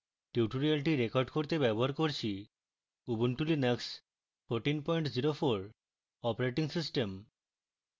tutorial record করতে আমি ব্যবহার করছি: